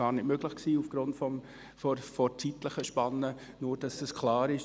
Das war aufgrund der Zeitspanne gar nicht möglich – nur, damit das klar ist.